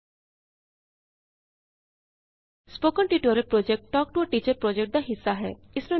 spoken tutorial project talk to a teacher ਪੋ੍ਜੈਕਟਦਾ ਇਕ ਹਿੱਸਾ ਹੈ